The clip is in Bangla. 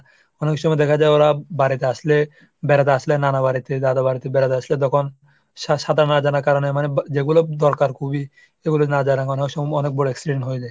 অনেক সময় দেখা যায় ওরা বাড়িতে আসলে, বেড়াতে আসলে, নানা বাড়িতে, দাদা বাড়িতে বেড়াতে আসলে. তখন সা ⁓ সা⁓ সাঁতার না জানার কারণে মানে যেগুলো দরকার খুবই. এগুলো না জানানোর সময় অনেক বড় accident হয়ে যায়।